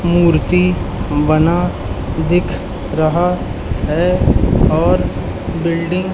मूर्ति बना दिख रहा है और बिल्डिंग --